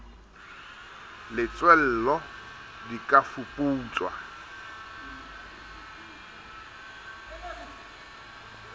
le tswello di ka fuputswa